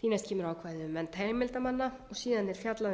þá er ákvæðið um nefnd heimildarmanna og síðan er fjallað um